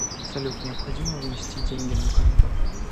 салют необходимо внести деньги на карту